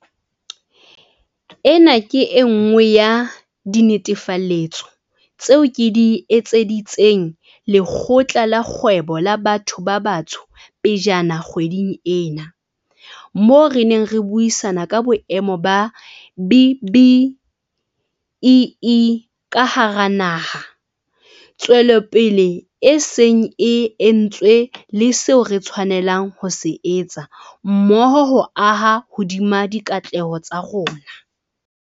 Ena ke e nngwe ya dinetefaletso tseo ke di etseditseng Lekgotla la Kgwebo la Batho ba Batsho pejana kgweding ena, moo re neng re buisana ka boemo ba B-BBEE ka hara naha, tswelopele e seng e entswe le seo re tshwanelang ho se etsa mmoho ho aha hodima dikatleho tsa rona.